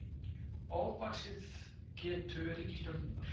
Ofvaxið getu ríkisstjórnarinnar